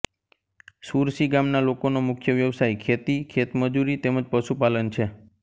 સુરસી ગામના લોકોનો મુખ્ય વ્યવસાય ખેતી ખેતમજૂરી તેમ જ પશુપાલન છે